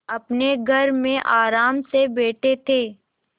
अपने घर में आराम से बैठे थे